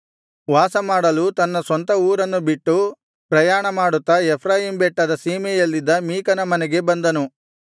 ವಾಸಮಾಡಲು ತನ್ನ ಸ್ವಂತ ಊರನ್ನು ಬಿಟ್ಟು ಪ್ರಯಾಣಮಾಡುತ್ತಾ ಎಫ್ರಾಯೀಮ್ ಬೆಟ್ಟದ ಸೀಮೆಯಲ್ಲಿದ್ದ ಮೀಕನ ಮನೆಗೆ ಬಂದನು